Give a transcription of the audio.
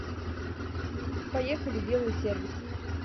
поехали белый сервис